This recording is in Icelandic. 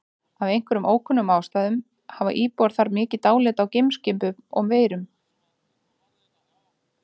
Af einhverjum ókunnum ástæðum hafa íbúar þar mikið dálæti á geimskipum og-verum.